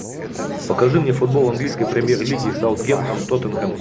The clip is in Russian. покажи мне футбол английской премьер лиги саутгемптон тоттенхэм